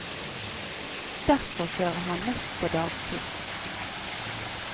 Derfor kjører han mest på dagtid.